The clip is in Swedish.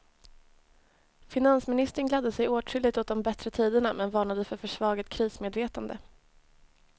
Finansministern gladde sig åtskilligt åt de bättre tiderna men varnade för försvagat krismedvetande.